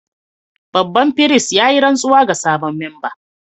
Babban firist ya yi rantsuwa ga sabon memba